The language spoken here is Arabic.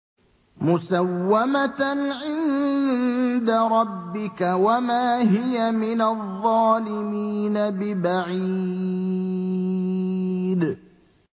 مُّسَوَّمَةً عِندَ رَبِّكَ ۖ وَمَا هِيَ مِنَ الظَّالِمِينَ بِبَعِيدٍ